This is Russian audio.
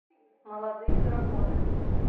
молодые драконы